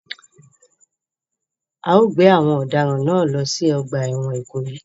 A o gbé àwon òdaràn náà lo si ogbà èwòn Ìkòyí